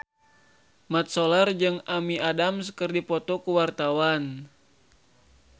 Mat Solar jeung Amy Adams keur dipoto ku wartawan